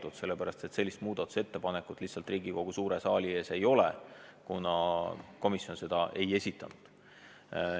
Seda sellepärast, et sellist muudatusettepanekut Riigikogu suure saali ees lihtsalt ei ole, kuna komisjon seda ei esitanud.